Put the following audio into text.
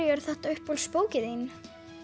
er þetta uppáhalds bókin þín